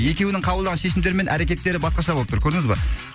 екеуінің қабылдаған шешімдері мен әрекеттері басқаша болып тұр көрдіңіз ба